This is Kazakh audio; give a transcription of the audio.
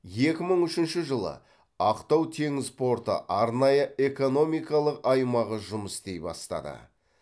екі мың үшінші жылы ақтау теңіз порты арнайы экономикалық аймағы жұмыс істей бастады